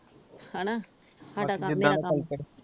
ਹਣਾ ਸਾਡਾ ਕੰਮ